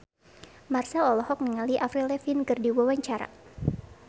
Marchell olohok ningali Avril Lavigne keur diwawancara